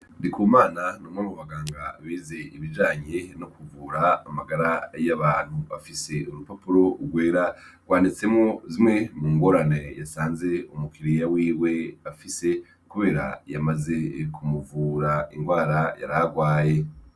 Ndikumana ni umwe mu baganga bize ibijanye no kuvura amagara y'abantu. Afise urupapuro rwera rwanditsemwo zimwe mu ngorane yasanze umukiriya wiwe afise kubera yamaze kumuvura ingwara yara agwaye.